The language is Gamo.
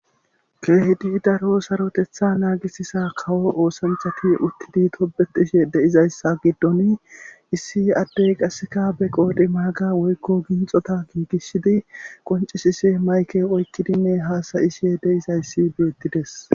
Keehidi daro sarotetha naagisisa kawo oosanchati uttidi tobetishe de''izayssa giddon issi addey qaseka be qoodhi maaga woykko ginxota giigisshidi qoncisise mayke oykkidinne haasayishe de izayssi beettides.